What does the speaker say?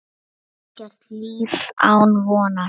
Og ekkert líf án vonar.